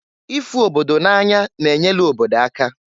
Ịfụ obodo na-anya na-enyelu obodo aka.